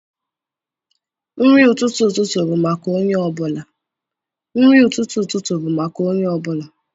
Nri ụtụtụ ụtụtụ bụ maka onye ọ bụla.